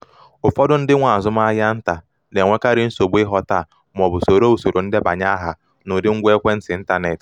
ụfọdụ ndị nwe azụmahịa nta na-enwekarị nsogbu ịghọta ma ọ bụ soro usoro ndebanye aha n’ụdị ngwa ekwentị intaneti